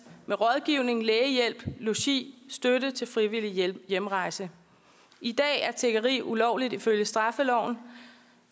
med rådgivning lægehjælp logi støtte til frivillig hjemrejse i dag er tiggeri ulovligt ifølge straffeloven